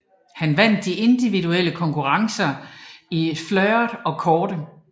Han vandt de individuelle konkurrencer i fleuret og kårde